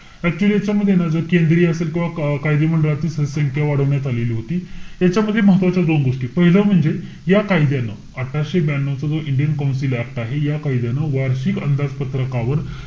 Actually ह्याच्यामध्ये ना जर केंद्रीय असेल किंवा का~ कायदे मंडळाची स~ संख्या वाढवण्यात आलेली होती. याच्यामध्ये महत्वाच्या दोन गोष्टी. पाहिलं म्हणजे, या कायद्यानं अठराशे ब्यानऊ चा जो इंडियन कौन्सिल ऍक्ट आहे. या कायद्यानं वार्षिक अंदाजपत्रकावर,